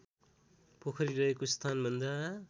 पोखरी रहेको स्थानभन्दा